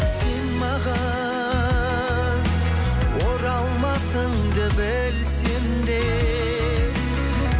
сен маған оралмасыңды білсем де